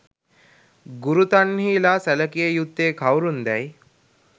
ගුරු තන්හි ලා සැලකිය යුත්තේ කවුරුන් දැයි